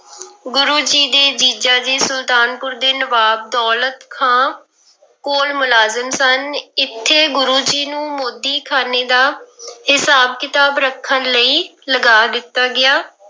ਗੁਰੂ ਜੀ ਦੇ ਜੀਜਾ ਜੀ ਸੁਲਤਾਨਪੁਰ ਦੇ ਨਵਾਬ ਦੌਲਤ ਖਾਂ ਕੋਲ ਮੁਲਾਜ਼ਮ ਸਨ, ਇੱਥੇ ਗੁਰੂ ਜੀ ਨੂੰ ਮੋਦੀਖਾਨੇ ਦਾ ਹਿਸਾਬ ਕਿਤਾਬ ਰੱਖਣ ਲਈ ਲਗਾ ਦਿੱਤਾ ਗਿਆ।